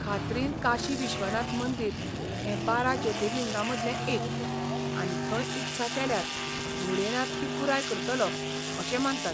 खात्रीन काशी विश्वनाथ मंदिर हें बारा ज्योतिर्लिंगांतलें एक, आनी थंय इत्सा केल्यार भोलेनाथ ती पुराय करतलो अशें मानतात!